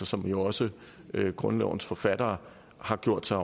som jo også grundlovens forfattere har gjort sig